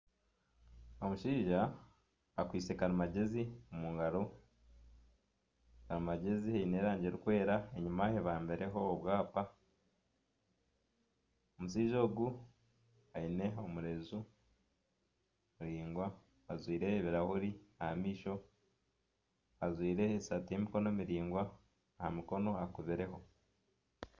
Omushaija akwitse karimangyezi omu ngaro karimangyezi eine erangi erikwera enyuma ebambireho obwapa omushaija ogu aine omurenju muraingwa ajwaire ebirahuuri aha maisho ajwaire esaati y'emikono miraingwa aha mukono hakubireho.